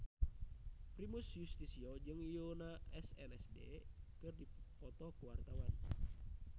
Primus Yustisio jeung Yoona SNSD keur dipoto ku wartawan